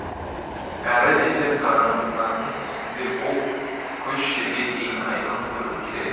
әрі десе қаранардың үстінде ол көш жерге дейін айқын көріп келеді